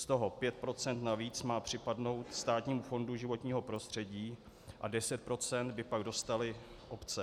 Z toho 5 % navíc má připadnout Státnímu fondu životního prostředí a 10 % by pak dostaly obce.